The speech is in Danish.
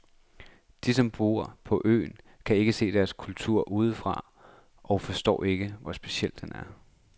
De, som bor på øen, kan ikke se deres kultur udefra og forstår ikke, hvor speciel den er.